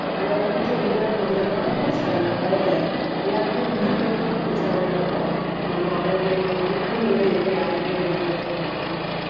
ஆனா, அது குடிக்க முடியாத ஒண்ணுதான் ஆனா, குடிச்சிட்டாங்க பயத்துல. எல்லாருமே, உயிர் பயத்துலதான் குடிச்சாங்க தவிர, நம்ம ஆரோக்கியமா இருக்கணும் உள்ள எண்ணம் யாருக்குமே வரல சொல்லப் போனா